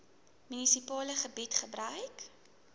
munisipale gebied gebruik